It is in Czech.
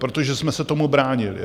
Protože jsme se tomu bránili.